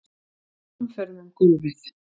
Fer hamförum um gólfið.